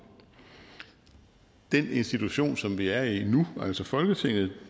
den institution som vi er i nu altså folketinget